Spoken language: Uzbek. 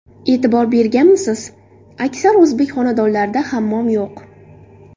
E’tibor berganmisiz: aksar o‘zbek xonadonlarida hammom yo‘q.